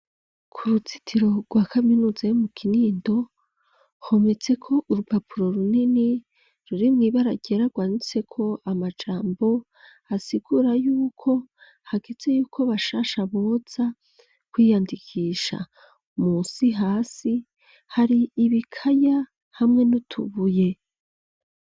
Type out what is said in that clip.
Ku ruzitiro rwa kaminuza yo mu kinindo hometseko urupapuro runini ruri mw'ibarabara rumanitseko amajambo asigura yuko hageze yuko bashasha boza kwiyandikisha munsi hasi hari ibikaya hamwe nutubuye